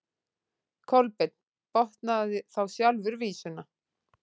Kolbeinn botnaði þá sjálfur vísuna: